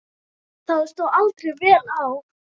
Það stóð aldrei vel á.